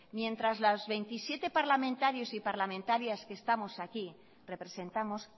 mientras que los veintisiete parlamentarios y parlamentarias que estamos aquí representamos